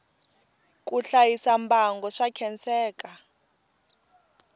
ku hlayisa mbango swa khenseka